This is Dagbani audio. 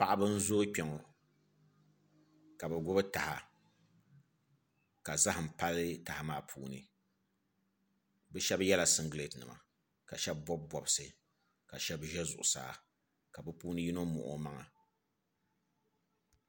Paɣaba n zooi kpɛ ŋɔ ka bi gbubi taha ka zaham pali taha maa puuni bi shab yɛla singirɛt nima ka shab bob bobsi ka shab ʒɛ zuɣusaa ka bi puuni yino muɣi o maŋa